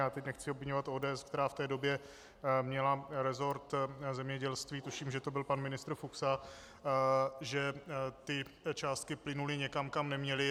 Já teď nechci obviňovat ODS, která v té době měla rezort zemědělství, tuším, že to byl pan ministr Fuksa, že ty částky plynuly někam, kam neměly.